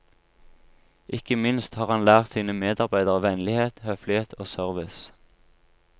Ikke minst har han lært sine medarbeidere vennlighet, høflighet og service.